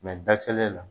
da kelen na